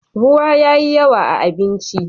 ruwa yayi yawa a abinci